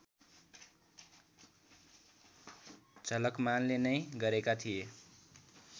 झलकमानले नै गरेका थिए